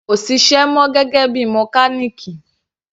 Kò ṣiṣẹ́ mọ gẹ́gẹ́ bíi mọkálìkì.